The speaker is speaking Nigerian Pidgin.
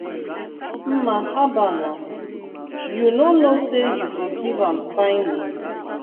mma haba naa! you no know say you go give am fine name.